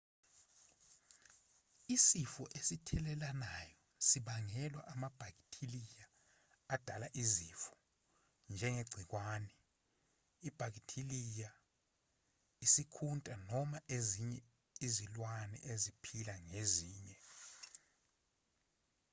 isifo esithelelanayo sibangelwa amabhakithiliya adala izifo njengegciwane ibhakithiliya isikhunta noma ezinye izilwane eziphila ngezinye